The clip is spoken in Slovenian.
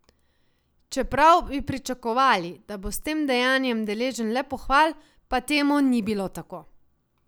Čeprav bi pričakovali, da bo s tem dejanjem deležen le pohval, pa temu ni bilo tako.